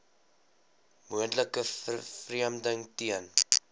moontlike vervreemding ten